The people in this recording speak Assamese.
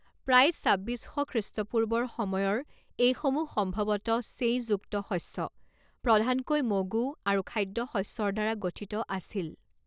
প্ৰায় ছাব্বিছ শ খ্ৰীষ্টপূৰ্বৰ সময়ৰ এইসমূহ সম্ভৱতঃ ছেঁইযুক্ত শস্য, প্ৰধানকৈ মগু, আৰু খাদ্যশস্যৰদ্বাৰা গঠিত আছিল।